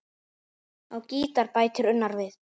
Á gítar bætir Unnar við.